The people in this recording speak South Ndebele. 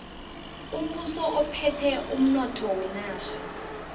umbuso uphethe umnotho wenarha